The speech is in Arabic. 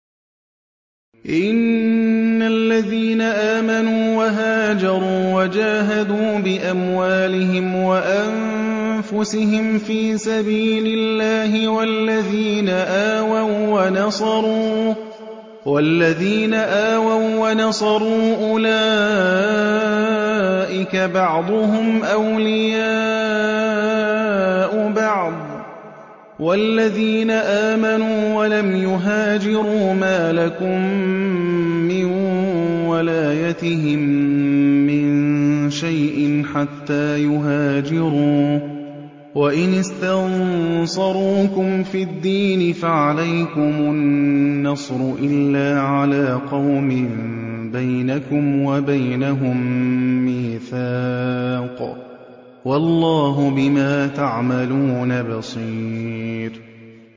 إِنَّ الَّذِينَ آمَنُوا وَهَاجَرُوا وَجَاهَدُوا بِأَمْوَالِهِمْ وَأَنفُسِهِمْ فِي سَبِيلِ اللَّهِ وَالَّذِينَ آوَوا وَّنَصَرُوا أُولَٰئِكَ بَعْضُهُمْ أَوْلِيَاءُ بَعْضٍ ۚ وَالَّذِينَ آمَنُوا وَلَمْ يُهَاجِرُوا مَا لَكُم مِّن وَلَايَتِهِم مِّن شَيْءٍ حَتَّىٰ يُهَاجِرُوا ۚ وَإِنِ اسْتَنصَرُوكُمْ فِي الدِّينِ فَعَلَيْكُمُ النَّصْرُ إِلَّا عَلَىٰ قَوْمٍ بَيْنَكُمْ وَبَيْنَهُم مِّيثَاقٌ ۗ وَاللَّهُ بِمَا تَعْمَلُونَ بَصِيرٌ